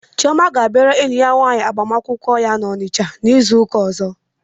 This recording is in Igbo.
Chioma ga-abịara enyi ya nwaanyị agbamakwụkwọ ya n'Onitsha izu ụka ọzọ.